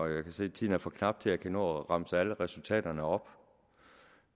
jeg kan se at tiden er for knap til at jeg kan nå at remse alle resultaterne op